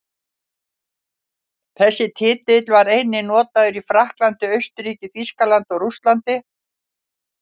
Þessi titill var einnig notaður í Frakklandi, Austurríki, Þýskalandi og Rússlandi.